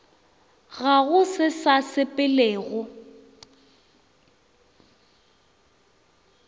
ga go se sa sepelego